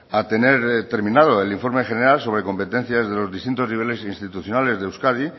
a tener terminado el informe general sobre competencias de los distintos niveles institucionales de euskadi